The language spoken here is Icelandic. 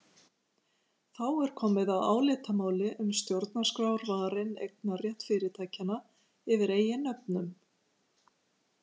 Þá er komið að álitamáli um stjórnarskrárvarinn eignarrétt fyrirtækjanna yfir eigin nöfnum.